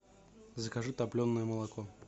закажи топленое молоко